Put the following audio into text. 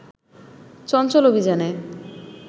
চঞ্চল অভিযানে